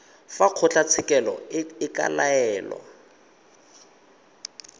fa kgotlatshekelo e ka laela